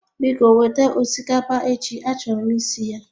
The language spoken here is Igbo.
Biko weta osikapa echi a choro m isi ya